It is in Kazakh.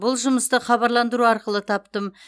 бұл жұмысты хабарландыру арқылы таптым